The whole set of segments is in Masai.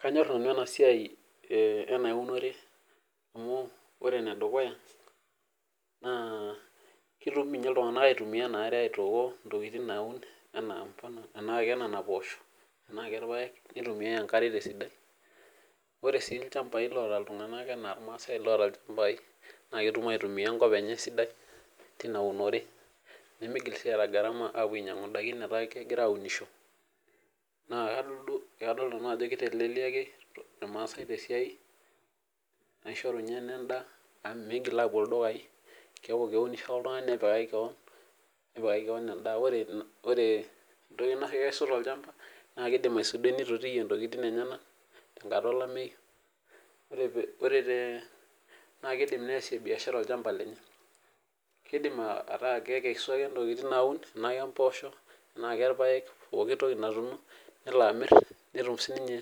Kanyor nanu ena siai ena unore amu ore ene dukuya naa ketum ninye iltunganak aitumia enaare intokitin naun, anaa kenena poosho, tenaa kerpaek. nitumiae enkare te sidai, ore sii ilchampai loota iltunganak anaa irmaasae oota ilchampai naa ketum aitumia enkop enye esidai teina unore. nemeigil sii aata gharama aapuo ainyiangu idaikin metaa kegira aunisho, naa kadol nanu ajo kiteleliaki irmaasae te siai. aishoru ninye ena edaa amu miigil aapuo ildukai amu keeku keunisho oltungani nepikaki keon edaa. ore entoki nakesu tolchampa naa kidim aisudoi neitotiyie ntokitin enyenak. tenkata olameyu. naa kidim neesie biashara olchampa lenye. kidim ataa kekesu ake ntokitin naun tenaa kempoosho, tenaa kerpaek, pooki toki natuuno. nelo amir, netum sii ninye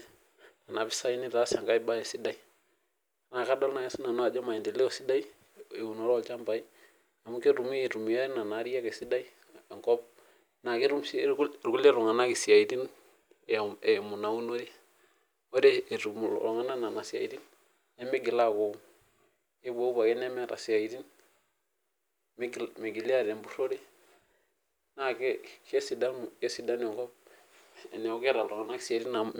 Nena pisai nitaas enkae bae sidai. naa kadol naaji sii nanu ajo maendeleo sidai eunoto olchampak amu ketumi aitumia Nena Ariak esidai enkop. naa ketum sii irkulie tunganak isiatin eimu Ina unore. ore etum, iltunganak Nena siatin nemeigil aaku kepuopuo ake nemeeta isiatin. nemigili aata empurore, naa kesidanu enkop teneeku keeta iltunganak isiatin amu,